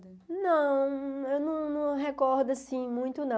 Não, eu não não recordo, assim, muito, não.